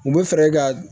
U bɛ fɛɛrɛ ka